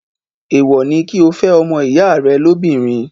èèwọ̀ ni kí o fẹ́ ọmọ ìyá rẹ lóbìnrin.